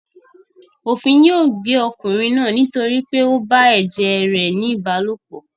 Òfin yóò gbé ọkùnrin náà nítorí pé ó bá ẹ̀jẹ̀ rẹ̀ ní ìbálòpọ̀.